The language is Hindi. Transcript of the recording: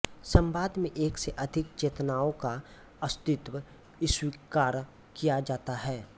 संवाद में एक से अधिक चेतनाओं का अस्तित्व स्वीकार किया जाता है